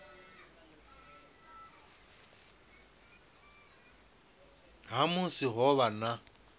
ha musi ho vha na